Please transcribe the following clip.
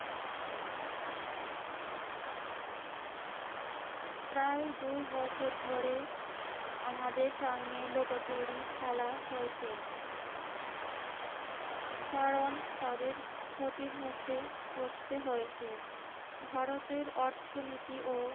প্রায় দুই বছর ধরে আমাদের সঙ্গে লুকোচুরি খেলা হয়েছে। কারণ তাদের ক্ষতির মুখে পড়তে হয়েছে। ভারতের অর্থনীতি ও